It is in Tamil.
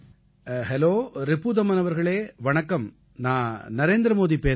ஹெலோ ரிபுதமன் அவர்களே வணக்கம் நான் நரேந்திர மோதி பேசுகிறேன்